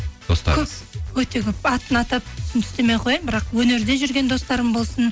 өте көп атын атап түсін түстемей ақ қояйын бірақ өнерде жүрген достарым болсын